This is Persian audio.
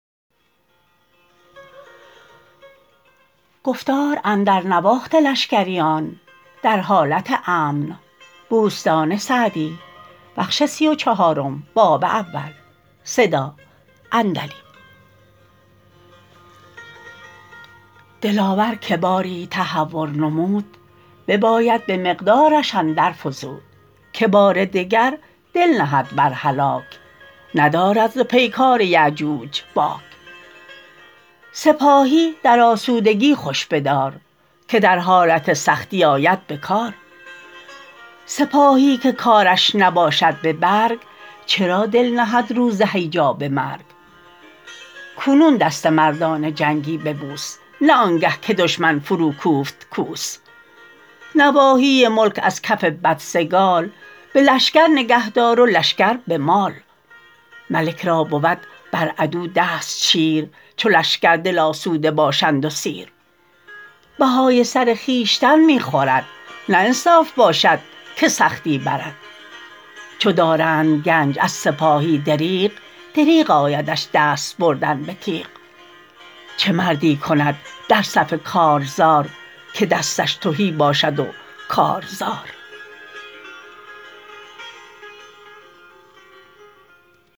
دلاور که باری تهور نمود بباید به مقدارش اندر فزود که بار دگر دل نهد بر هلاک ندارد ز پیکار یأجوج باک سپاهی در آسودگی خوش بدار که در حالت سختی آید به کار سپاهی که کارش نباشد به برگ چرا دل نهد روز هیجا به مرگ کنون دست مردان جنگی ببوس نه آنگه که دشمن فرو کوفت کوس نواحی ملک از کف بدسگال به لشکر نگه دار و لشکر به مال ملک را بود بر عدو دست چیر چو لشکر دل آسوده باشند و سیر بهای سر خویشتن می خورد نه انصاف باشد که سختی برد چو دارند گنج از سپاهی دریغ دریغ آیدش دست بردن به تیغ چه مردی کند در صف کارزار که دستش تهی باشد و کار زار